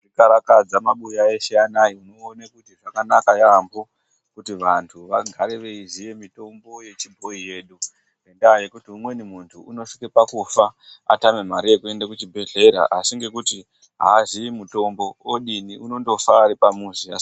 Tikakarakaza mumabuya eshe anaa muone kuti zvakanaka yaamho kuti vanhu vagare yeiziya mitombo yechibhoyi yedu ngendaa yekuti munhu unotosvike pakufa atame mare yekuende kuchibhedhlera asi ngenyaya yekuti aazii mitombo odini unondofa ari pamuzi.